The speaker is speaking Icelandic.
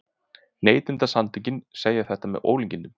Neytendasamtökin segja þetta með ólíkindum